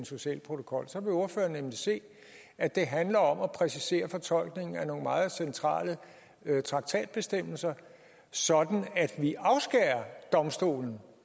social protokol så vil ordføreren nemlig se at det handler om at præcisere fortolkningen af nogle meget centrale traktatbestemmelser sådan at vi afskærer domstolen